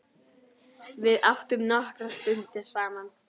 Við áttum nokkrar stundir saman.